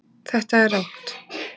Þetta er rangt